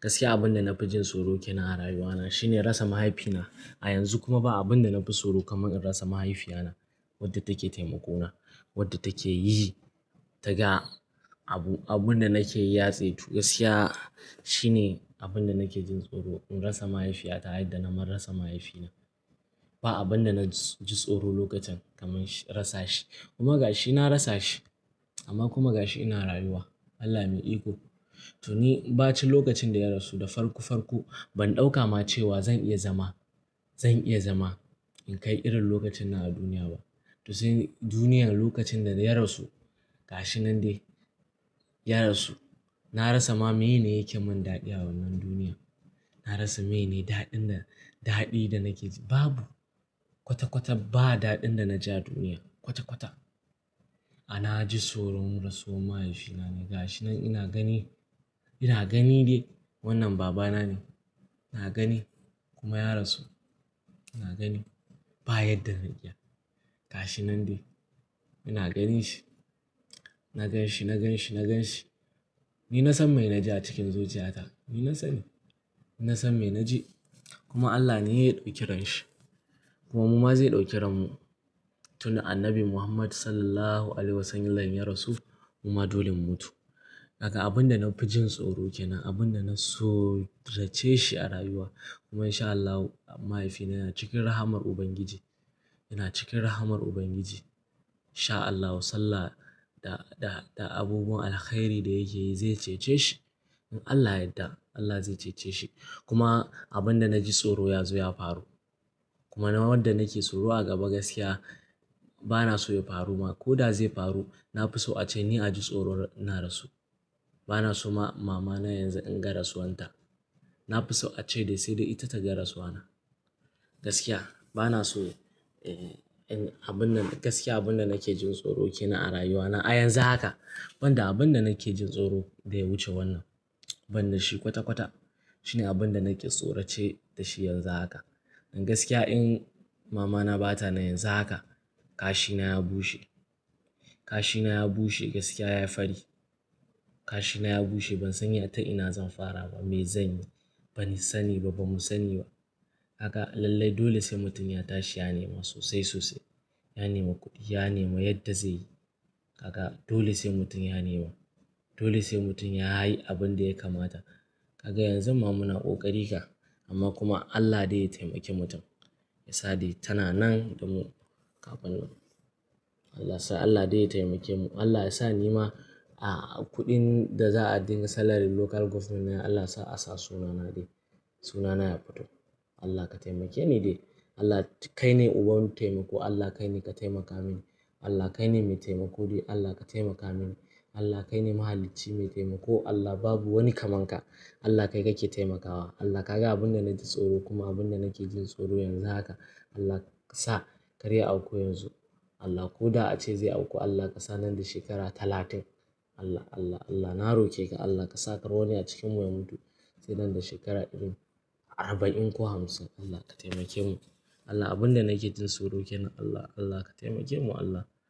Gaskiya abin da na fi jin tsoro ke nan a rayuwa na shine rasa mahaifina. A yanzu kuma ba abin da na fi tsoro kamar in rasa mahaifiyata. Wadda take taimako na, wadda take yi ta ga abu, abin da nake yi ya saitu. Gaskiya shine abin da nake jin tsoro in rasa mahaifiyata yayin da na mar rasa mahaifina. Ba abin da na ji tsoro lokacin kamar in rasa shi kuma gashi na rasa shi amma kuma gashi ina rayuwa. Allah mai iko. To ni ba cin lokacin da ya rasu da farko farko ban ɗauka ma cewa zan iya zama, zan iya zama in kai irin lokacin nan a duniya ba. To sai duniyar lokacin da ya rasu gashi nan dai ya rasu. Na rasa ma mene yake mun daɗi a wannan duniya. Na rasa mene daɗin da, daɗi da nake ji babu. Kwata kwata ba daɗin da na ji a duniya. Kwata kwata a na ji tsoron rasuwar mahaifina ne gashi nan ina gani, ina gani dai wannan babana ne. Na gani kuma ya rasu. Na gani baya yadda na iya. Gashi nan dai ina gani shi, na gan shi, na gan shi, na gan shi. Ni na san mai na ji a cikin zuciya ta. Ni na sani. Ni na san mai na ji kuma Allah ne ya ɗauki renshi kuma muma zai ɗauki renmu tun da annabi Muhammad Sallallahu Alaihi Wasallam ya rasu muma dolin mutu. Haka abin da na fi jin tsoro ke nan, abin da na so rage shi a rayuwa kuma in sha Allahu mahaifina yana cikin rahamar Ubangiji, yana cikin rahamar Ubangiji. Insha Allahu Sallah da, da, da abubuwan alkhairi da yake yi zai cece shi. In Allah yadda Allah zai cece shi kuma abin da na ji tsoro ya zo ya faru. Kuma na wadda nake tsoro a gaba gaskiya bana so ya faru ma. Ko da zai faru na fi so ace ni a ji tsoron na rasu. Bana so ma mama na yanzu in ga rasuwan ta. Na fi so a ce dai sai dai ita ta ga rasuwa na. Gaskiya bana so, eh, abin nan gaskiya abin da nake jin tsoro ke nan a rayuwa na a yanzu haka. Ban da abin da nake jin tsoro da ya wuce wannan. Ban da shi kwata kwata. Shine abin da nake tsorace da shi yanzu haka. Gaskiya in mama na ba ta nan yanzu haka kashi na ya bushe, kashi na ya bushe gaskiya ya fadi. Kashi na ya bushe ban sani ita ina zan fara ba, me zanyi. Bani sani ba, bamu sani ba. Haka lallai dole sai mutum ya tashi ya nema sosai sosai. Ya nema kuɗi, ya nema yadda zai yi. Haka dole sai mutum ya nema. Dole sai mutum ya hahi abin da ya kamata. Haka yanzu muna ƙoƙari fa amma kuma Allah dai ya taimake mutum. Ya sa dai tana nan da mu kafin nan. Allah sa Allah dai ya taimake mu. Allah ya sa ni ma, a, kuɗin da za a dinga salary local government na Allah sa a sa sunana dai. Sunana ya fito. Allah ka taimake ni dai. Allah kai ne uban taimako. Allah kai ne ka taimaka mini. Allah kai ne mai taimako dai. Allah ka taimaka mini. Allah kai ne mahalici mai taimako. Allah babu wani kaman ka. Allah kai kake taimakawa. Allah ka ga abin da nake tsoro kuma abin da nake jin tsoro yanzu haka. Allah kasa kar auku yanzu. Allah ko da ace zai auku Allah ka sa nan da shekara talatin. Allah, Allah, Allah na roke ka Allah ka sa kawai wani a cikinmu ya mutu sai nan da shekara iri arba'in ko hamsin. Allah ka taimake mu. Allah abin da nake jin tsoro ke nan Allah. Allah ka taimake mu Allah.